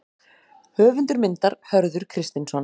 Höfundur myndar: Hörður Kristinsson.